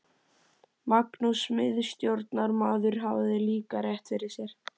Magnús miðstjórnarmaður hafði líka rétt fyrir sér.